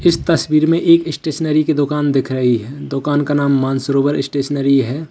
इस तस्वीर में एक स्टेशनरी की दुकान दिख रही है दुकान का नाम मानसरोवर स्टेशनरी है।